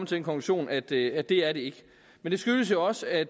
til den konklusion at det at det er det ikke men det skyldes jo også at